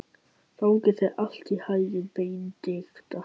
Gangi þér allt í haginn, Benidikta.